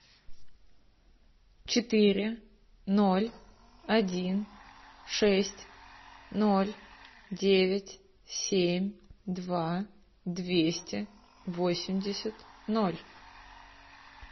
четыре ноль один шесть ноль девять семь два двести восемьдесят ноль